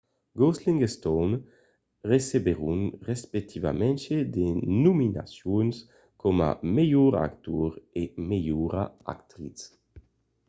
gosling e stone recebèron respectivament de nominacions coma melhor actor e melhora actritz